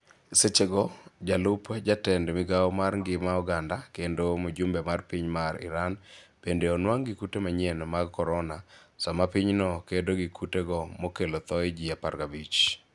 Sechego sechego jalup jatend migao mar ngima oganda kendo mjumbe mar piny mar Iran bende onwang' gi kute manyien mag korona, sama pinyno kedo gi kutego mokelo thoe ji 15.